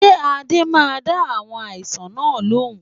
Ṣé Ade máa dá àwọn aláìsàn náà lóhùn?